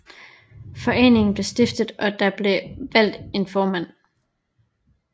Foreningen blev stiftet og der blev valgt en formand